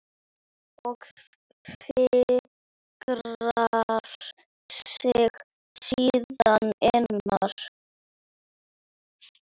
Og fikrar sig síðan innar?